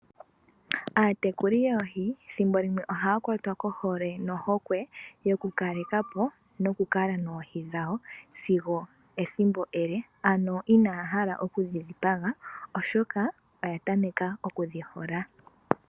Aatekuli yoohi ethimbo limwe ohaya kwatwa kohole nohokwe yoku kalekapo noku kala noohi dhawo sigo ethimbo ele ano inaya hala okudhi dhipaga oshoka oya tameka okudhi hola.